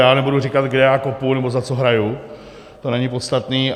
Já nebudu říkat, kde já kopu nebo za co hraju, to není podstatné.